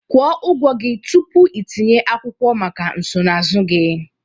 Kwụọ ụgwọ gị tupu itinye akwụkwọ maka nsonaazụ gị